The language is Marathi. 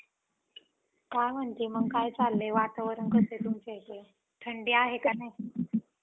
काय म्हणतीये मग काय चाललंय? वातावरण कसं आहे तुमच्या इकडे? थंडी आहे का नाही?